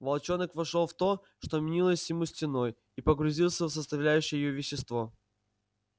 волчонок вошёл в то что мнилось ему стеной и погрузился в составляющее её вещество